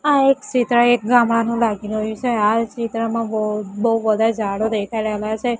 આ એક ચિત્ર એક ગામડાનું લાગી રહ્યું છે આ ચિત્રમાં બહુ બહુ બધા જાડો દેખાઈ રહેલા છે.